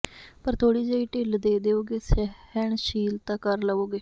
ਪਰ ਥੋੜ੍ਹੀ ਜਿਹੀ ਢਿੱਲ ਦੇ ਦਿਉਗੇ ਸਹਿਣ ਸ਼ੀਲਤਾ ਕਰ ਲਵੋਗੇ